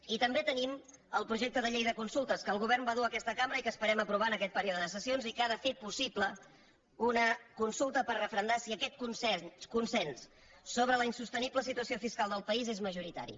i també tenim el projecte de llei de consultes que el govern va dur a aquesta cambra i que esperem aprovar en aquest període de sessions i que ha de fer possible una consulta per referendar si aquest consens sobre la insostenible situació fiscal del país és majoritari